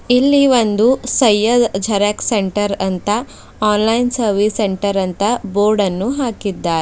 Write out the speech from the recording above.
ಇಲ್ಲಿ ಒಂದು Syed xerox centre ಅಂತ ಆನ್ಲೈನ್ ಸರ್ವಿಸ್ ಸೆಂಟರ್ ಅಂತ ಬೋರ್ಡನ್ನು ಹಾಕಿದ್ದಾರೆ.